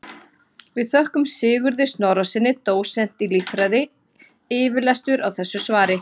Við þökkum Sigurði Snorrasyni dósent í líffræði yfirlestur á þessu svari.